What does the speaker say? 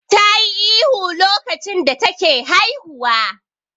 Tayi ihu lokacin da take haihuwa.